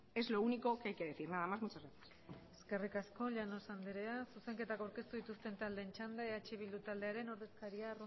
es lo único que hay que decir nada más y muchas gracias eskerrik asko llanos anderea zuzenketak aurkeztu dituzten taldeen txanda eh bildu taldearen ordezkaria